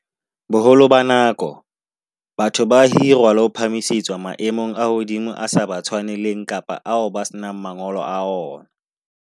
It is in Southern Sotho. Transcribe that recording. Boholo ba nako, batho ba hirwa le ho phahamisetswa maemong a hodimo ao a sa ba tshwaneleng kapa ao ba senang mangolo a ona.